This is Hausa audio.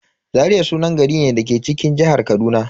Zaria sunan gari ne da ke cikin jihar Kaduna.